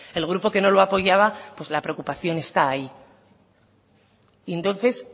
el grupo que no lo apoyaba pues la preocupación está ahí y entonces